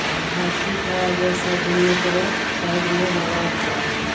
और हाथी का जैसा दोनों तरफ साइड में लगा हुआ है।